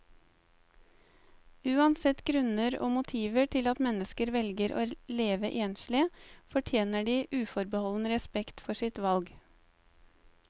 Uansett grunner og motiver til at mennesker velger å leve enslig, fortjener de uforbeholden respekt for sitt valg.